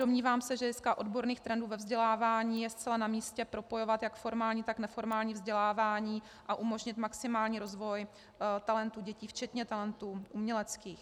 Domnívám se, že z hlediska odborných trendů ve vzdělávání je zcela namístě propojovat jak formální, tak neformální vzdělávání a umožnit maximální rozvoj talentů dětí, včetně talentů uměleckých.